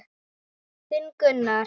Þinn Gunnar.